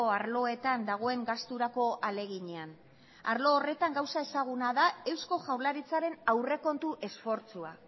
arloetan dagoen gasturako ahaleginean arlo horretan gauza ezaguna da eusko jaurlaritzaren aurrekontu esfortzua